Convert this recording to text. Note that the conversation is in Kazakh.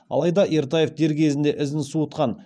алайда ертаев дер кезінде ізін суытқан